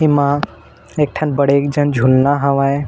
एमा एक ठन बड़ेक जन झूलना हेवय।